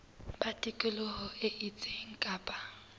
ba tikoloho e itseng kapa